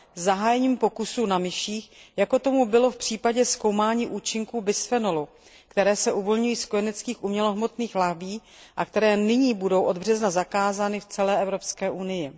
zahájením pokusů na myších, jako tomu bylo v případě zkoumání účinků bisfenolu, který se uvolňuje z kojeneckých umělohmotných lahví a který nyní bude od března zakázán v celé Evropské unii.